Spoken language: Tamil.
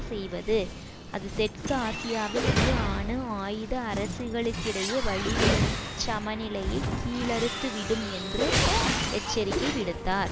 செய்வது அது தெற்கு ஆசியாவின் இரு அணு ஆயுத அரசுகளுக்கிடையே வலிமைச் சமநிலையை கீழறுத்துவிடும் என்று எச்சரிக்கை விடுத்தார்